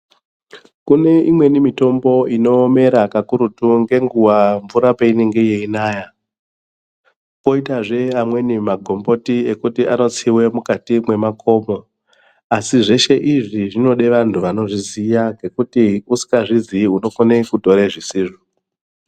Kune imweni mitombo inomera kakurutu ngenguwa peinenge yeinaya poitazve amweni magomboti ekuti anotsiwe mukati mwemakomo asizveshe izvi zvinode vantu vanozviziya ngekuti usingazvizii unokone kutore zvisizvo.